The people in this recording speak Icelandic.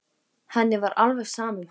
Henni var alveg sama um hana.